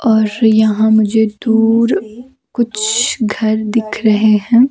और यहां मुझे दूर कुछ घर दिख रहे हैं।